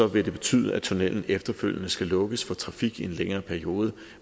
vil det betyde at tunnellen efterfølgende skal lukkes for trafik i en længere periode